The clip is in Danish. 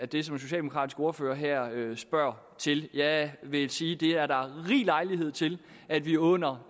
den socialdemokratiske ordfører her gør jeg vil sige at der er rig lejlighed til at vi under